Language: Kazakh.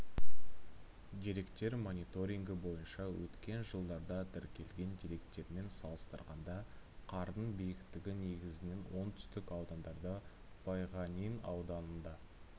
деректер мониторингі бойынша өткен жылдарда тіркелген деректермен салыстырғанда қардың биіктігі негізінен оңтүстік аудандарда байғанин ауданында